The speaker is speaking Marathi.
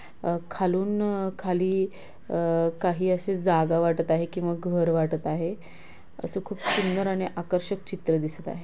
अ खालून खाली अ काही असे जागा वाटत आहे की मग घर वाटत आहे. असे खूप सुंदर आणि आकर्षक चित्र दिसत आहे.